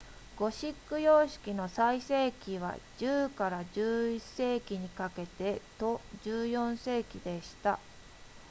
ゴシック様式の最盛期は 10～11 世紀にかけてと14世紀でした